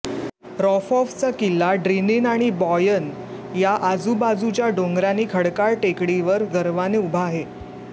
रॉफॉफचा किल्ला ड्रिनीन आणि बॉयन या आजूबाजूच्या डोंगरांनी खडकाळ टेकडीवर गर्वाने उभा आहे